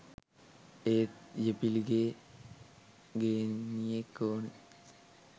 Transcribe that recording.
එත් යෙපිලගේ ගේනියෙක් ඕනේ